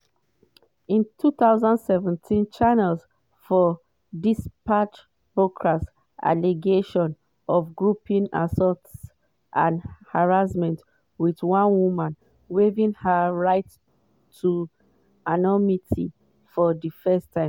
in 2017 channel 4 dispatches broadcast allegations of groping assault and harassment with one woman waiving her right to anonymity for di first time.